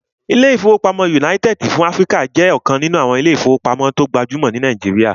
Ilé-ìfowópamọ́sí United fún Áfríkà jẹ́ ọ̀kan nínú àwọn ilé-ìfowópamọ́sí tó gbajúmọ̀ ní Nàìjíríyà